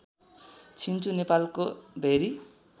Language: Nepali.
छिन्चु नेपालको भेरी